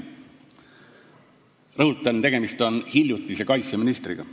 Rõhutan, et tegemist on hiljutise kaitseministriga.